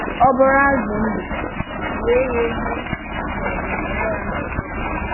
Ọ bụrụ̀ azụ̀ ndụ̀, ghee ya èghee ma ọ̀bụ̀ mịa ya n’ọ́kụ́.